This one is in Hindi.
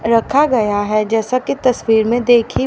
रखा गया है जैसा कि तस्वीर में देखी--